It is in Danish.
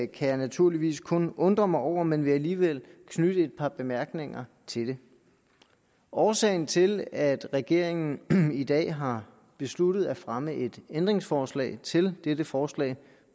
kan jeg naturligvis kun undre mig over men vil alligevel knytte et par bemærkninger til det årsagen til at regeringen i dag har besluttet at fremme et ændringsforslag til dette forslag